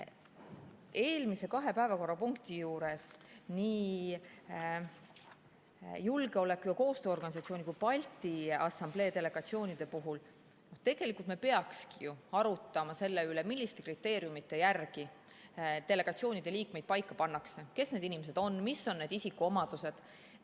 Eelmise kahe päevakorrapunkti juures, nii julgeoleku‑ ja koostööorganisatsiooni kui ka Balti Assamblee delegatsiooni puhul me tegelikult peakski arutama selle üle, milliste kriteeriumide järgi delegatsioonide liikmeid paika pannakse, kes need inimesed on, mis on need isikuomadused.